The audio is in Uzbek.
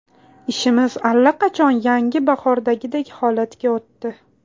Ishimiz allaqachon yana bahordagidek holatga o‘tdi.